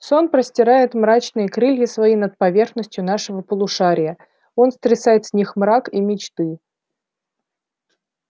сон простирает мрачныя крылья свои над поверхностью нашего полушария он стрясает с них мрак и мечты